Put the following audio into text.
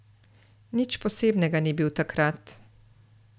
Nič posebnega ni bil, takrat.